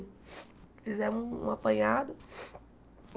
Fizemos um apanhado.